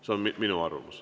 See on minu arvamus.